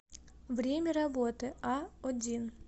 время работы а один